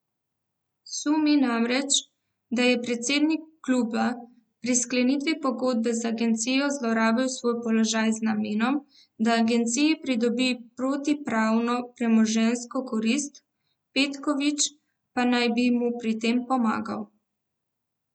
Sumi namreč, da je predsednik kluba pri sklenitvi pogodbe z agencijo zlorabil svoj položaj z namenom, da agenciji pridobi protipravno premoženjsko korist, Petković pa naj bi mu pri tem pomagal.